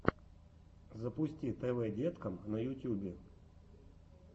запусти тв деткам на ютьюбе